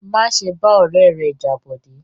Má ṣe bá ọ̀rẹ́ rẹ jà Bọ̀dé!